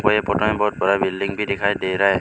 मुझे फोटो में बहुत बड़ा बिल्डिंग भी दिखाई दे रहा है।